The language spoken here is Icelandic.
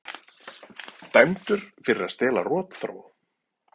Dæmdur fyrir að stela rotþró